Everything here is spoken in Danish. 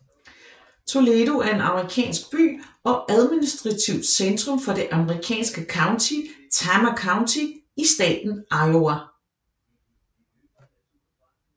Toledo er en amerikansk by og administrativt centrum for det amerikanske county Tama County i staten Iowa